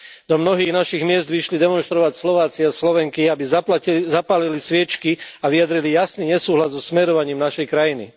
Do mnohých našich miest vyšli demonštrovať Slováci a Slovenky, aby zapálili sviečky a vyjadrili jasný nesúhlas so smerovaním našej krajiny.